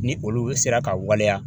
Ni olu sera ka waleya